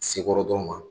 Sekɔrɔ dɔrɔn ma